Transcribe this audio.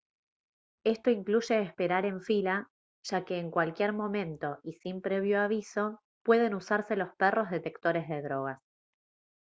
esto incluye esperar en fila ya que en cualquier momento y sin previo aviso pueden usarse los perros detectores de drogas